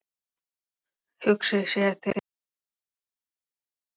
Hugsið þér til að koma hingað upp bráðum?